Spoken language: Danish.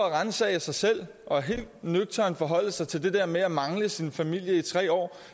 at ransage sig selv og helt nøgternt forholde sig til det der med at mangle sin familie i tre år